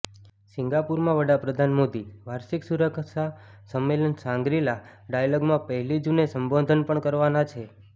સિંગાપુરમાં વડાપ્રધાન મોદી વાર્ષિક સુરક્ષા સંમેલન શાંગરી લા ડાયલોગમાં પહેલી જૂને સંબોધન પણ કરવાના છે